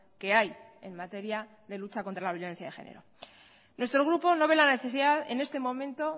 que hay en materia de lucha contra la violencia de género nuestro grupo no ve la necesidad en este momento